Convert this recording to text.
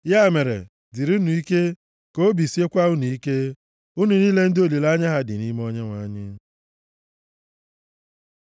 Ya mere, dịrịnụ ike, ka obi siekwa unu ike, unu niile ndị olileanya ha dị nʼime Onyenwe anyị.